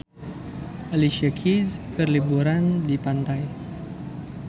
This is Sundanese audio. Alicia Keys keur liburan di pantai